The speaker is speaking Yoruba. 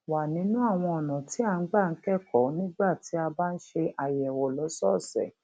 wa nínú àwọn ọnà tí a gbà ń kẹkọọ nígbà tí a bá ń ṣe àyẹwò lọsọọsẹ